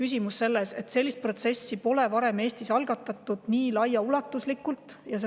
Küsimus on selles, et sellist protsessi pole varem Eestis nii laiaulatuslikult algatatud.